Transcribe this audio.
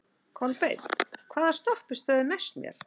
Kolbeinn, hvaða stoppistöð er næst mér?